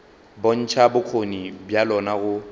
bontšha bokgoni bja lona go